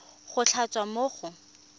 go tla tswa mo go